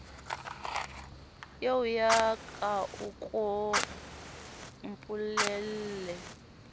eoya ka a ko mpolelle